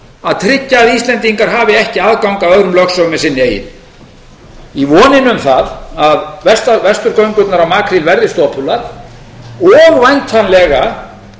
að tryggja að íslendingar hafi ekki aðgang að öðrum lögsögum en sinni eigin í vonandi um það að vesturgöngurnar á makríl verði stopular og væntanlega